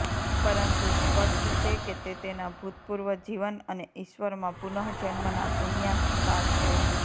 પરંતુ સ્પષ્ટ છે કે તે તેના ભૂતપૂર્વ જીવન અને ઈશ્વરમાં પુનઃજન્મના સંન્યાસ સાર છે